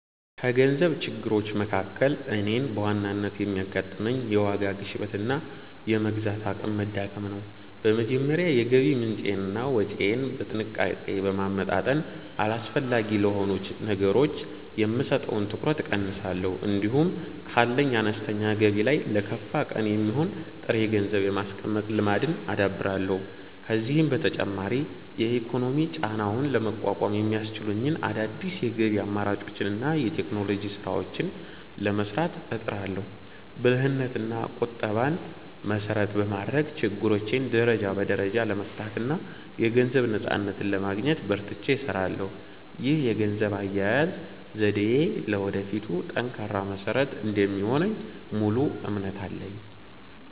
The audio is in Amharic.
ከገንዘብ ችግሮች መካከል እኔን በዋናነት የሚያጋጥመኝ፣ የዋጋ ግሽበትና የመግዛት አቅም መዳከም ነው። በመጀመሪያ የገቢ ምንጬንና ወጪዬን በጥንቃቄ በማመጣጠን፣ አላስፈላጊ ለሆኑ ነገሮች የምሰጠውን ትኩረት እቀንሳለሁ። እንዲሁም ካለኝ አነስተኛ ገቢ ላይ ለከፋ ቀን የሚሆን ጥሬ ገንዘብ የማስቀመጥ ልማድን አዳብራለሁ። ከዚህም በተጨማሪ የኢኮኖሚ ጫናውን ለመቋቋም የሚያስችሉኝን አዳዲስ የገቢ አማራጮችንና የቴክኖሎጂ ስራዎችን ለመስራት እጥራለሁ። ብልህነትና ቁጠባን መሰረት በማድረግ፣ ችግሮቼን ደረጃ በደረጃ ለመፍታትና የገንዘብ ነፃነትን ለማግኘት በርትቼ እሰራለሁ። ይህ የገንዘብ አያያዝ ዘዴዬ ለወደፊቱ ጠንካራ መሰረት እንደሚሆንልኝ ሙሉ እምነት አለኝ።